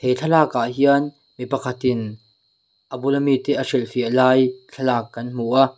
thlalakah hian mi pakhatin a bula mite a hrilhfiah lai thlalak kan hmu a.